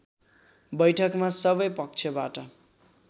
बैठकमा सबै पक्षबाट